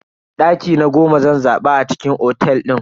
Daki na goma zan zaba a cikin otel din.